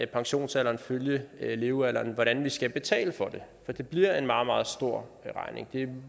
pensionsalderen følge levealderen hvordan vi skal betale for det for det bliver en meget meget stor regning det er